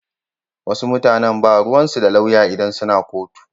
Wasu mutanan ba ruwansu da lauya idan suna kotu.